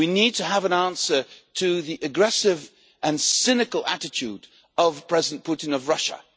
We need to have an answer to the aggressive and cynical attitude of President Putin of Russia.